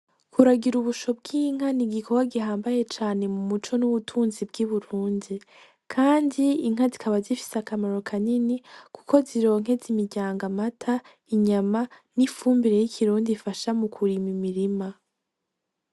Kuragira ubusho bw'inka n'igikorwa gihamabaye cane mu muco n'ubutunzi bw'i Burundi kandi inka zikaba zifise akamaro kanini kuko zironkeza imiryango amata, inyama n'ifumbire y'ikirundi ifasha mu kurima imirima .